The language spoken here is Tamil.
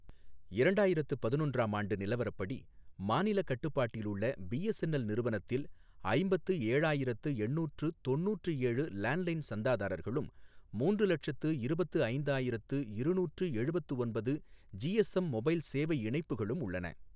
இரண்டாயிரத்து பதினொன்று ஆம் ஆண்டு நிலவரப்படி மாநில கட்டுப்பாட்டில் உள்ள பிஎஸ்என்எல் நிறுவனத்தில் ஐம்பத்து ஏழாயிரத்து எண்ணூற்று தொண்ணுற்று ஏழு லேண்ட் லைன் சந்தாதாரர்களும் மூன்று லட்சத்து இருபத்து ஐந்தாயிரத்து இருநூற்று எழுபத்து ஒன்பது ஜிஎஸ்எம் மொபைல் சேவை இணைப்புகளும் உள்ளன